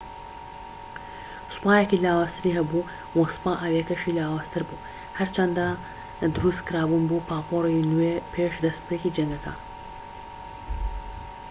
سوپایەکی لاوازتری هەبوو وە سوپا ئاویەکەشی لاوازتر بوو هەرچەندە دروست کرابوون بۆ پاپۆری نوێ پێش دەستپێکی جەنگەکە